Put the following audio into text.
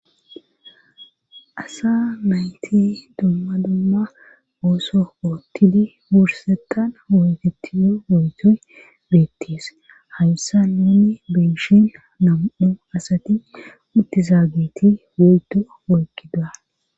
asa mayti dumma dumma ooso oottidi wursetan hooyfetiyo oytoy beettees hayssa nuni beshin nam7u asati uttizaageti goydua wolkida